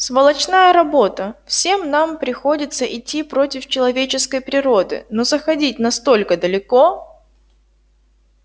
сволочная работа всем нам приходится идти против человеческой природы но заходить настолько далеко